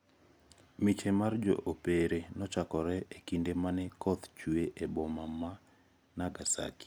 Miche mar jo opere nochokre e kinde mane koth chwe e boma ma Nagasaki.